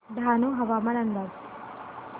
डहाणू हवामान अंदाज